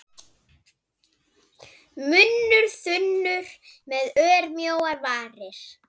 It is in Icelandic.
Munnur þunnur með örmjóar varir.